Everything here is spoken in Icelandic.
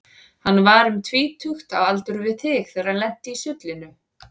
Hann var um tvítugt, á aldur við þig, þegar hann lenti í sullinu.